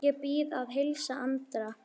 Ég bið að heilsa Andra.